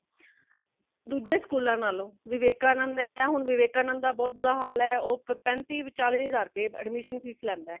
ਦੂਜੇ school ਨਾਲੋਂ ,ਵੈਵੇਕਾਨੰਦ ਐਨਾ ਹੁਣ ਵੈਵੇਕਾਨੰਦ ਦਾ ਬਹੁਤ ਬੁਰਾ ਹਾਲ ਹੇ | ਉਹ ਪੈਂਤੀ ,ਚਾਲੀ ਹਜ਼ਾਰ ਰੁਪਈਆ admission fees ਲੇੰਦਾ